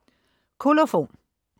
Kolofon